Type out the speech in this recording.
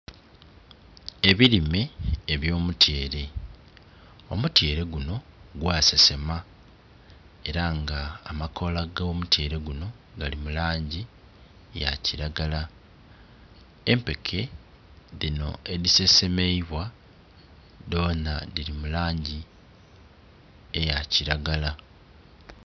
Ebirime ebyo mutyeere omutyere guno gwasesema era nga amakola go mutyeere guno gali mulangi yakilagala. Empeke dhino edisesemeibwa dhona dhiri mulangi eya kilagala